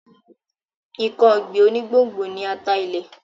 Nǹkan ọ̀gbìn onígbòǹgbò ni ata ilẹ̀.